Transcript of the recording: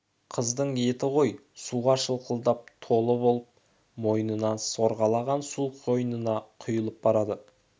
қыздың етігі ғой суға шылқылдап толып болды мойнынан сорғалаған су қойнына құйылып барады